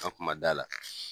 An kun ma d'a la.